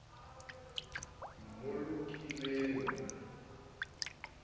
eo le mmolokileng selemong se